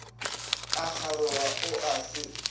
a kgaroga o a se